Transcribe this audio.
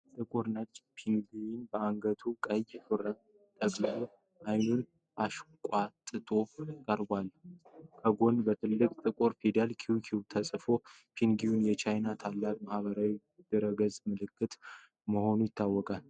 ጥቁርና ነጭ ፔንግዊን በአንገቱ ቀይ ሹራብ ጠቅልሎ ዓይኑን አሽቋጥጦ ቀርቧል። ከጎኑ በትልቅ ጥቁር ፊደላት "QQ" ተጽፏል። ፔንግዊኑ የቻይናው ታዋቂ የማኅበራዊ ድረ ገጽ ምልክት መሆኑ ይታወቃል።